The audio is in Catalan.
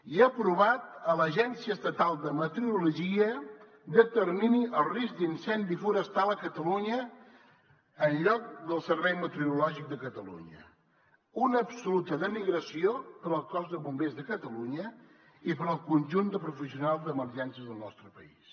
i ha aprovat que l’agència estatal de meteorologia determini el risc d’incendi forestal a catalunya en lloc del servei meteorològic de catalunya una absoluta denigració per al cos de bombers de catalunya i per al conjunt de professionals d’emergències del nostre país